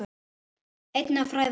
Einnig að fræða aðra.